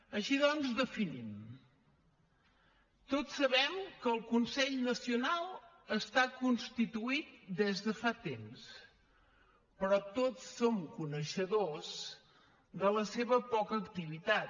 així doncs definim tots sabem que el consell nacional està constituït des de fa temps però tots som coneixedors de la seva poca activitat